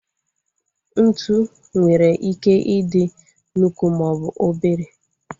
Ntụ nwere ike ị dị nnukwu maọbụ obere